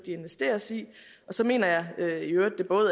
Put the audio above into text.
investeres i så mener jeg i øvrigt at